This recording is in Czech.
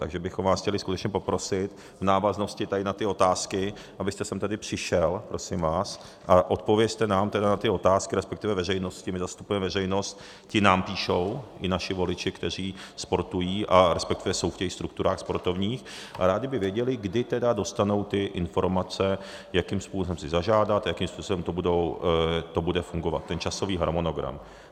Takže bychom vás chtěli skutečně poprosit v návaznosti tady na ty otázky, abyste sem tedy přišel, prosím vás, a odpovězte nám tedy na ty otázky, respektive veřejnosti, my zastupujeme veřejnost, ti nám píšou, i naši voliči, kteří sportují, a respektive jsou v těch strukturách sportovních a rádi by věděli, kdy tedy dostanou ty informace, jakým způsobem si zažádat, jakým způsobem to bude fungovat, ten časový harmonogram.